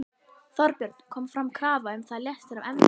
Þorbjörn: Kom fram krafa um að þú létir af embætti?